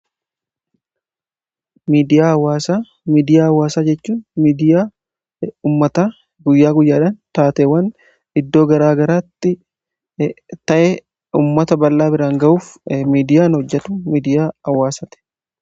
Miidiyaa hawaasaa: miidiyaan hawaasaa jechuun miidiyaa ummataa guyyaa guyyaadhaan taatewwan iddoo garaa garaatti ta'e, uummata ballaa biraan ga'uuf miidiyaan hojjetu miidiyaa hawaasati.